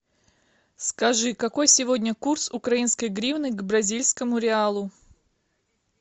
скажи какой сегодня курс украинской гривны к бразильскому реалу